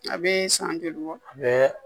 A bɛ san joli bɔ a bɛ